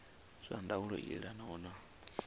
zwa ndaulo i elanaho na